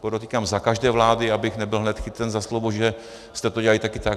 Podotýkám za každé vlády, abych nebyl hned chycen za slovo, že jste to dělali také tak.